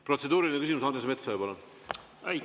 Protseduuriline küsimus, Andres Metsoja, palun!